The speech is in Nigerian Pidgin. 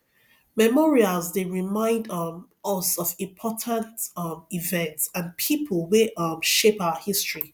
memorials dey remind um us of important um events and people wey um shape our history